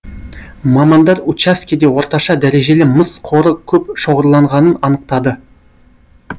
мамандар учаскеде орташа дәрежелі мыс қоры көп шоғырланғанын анықтады